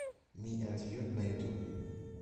ми энд ю на ютуб